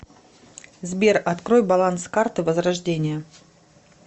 сбер открой баланс карты возрождение